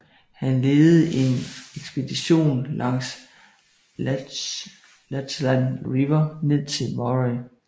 Han ledede en ekspedition langs Lachlan River ned til Murray